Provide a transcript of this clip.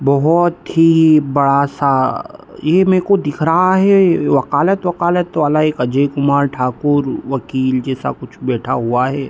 बोहोत ही बड़ा सा ये मेरे को दिख रहा है वकालत-वकालत वाला एक अजय कुमार ठाकुर वकील जैसा कुछ बैठा हुआ है।